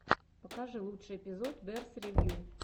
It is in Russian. покажи лучший эпизод берс ревью